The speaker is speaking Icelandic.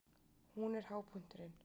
Hún er hápunkturinn.